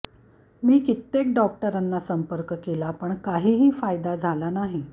मी कित्येक डॉक्टरांना संपर्क केला पण काहीही फायदा झाला नाही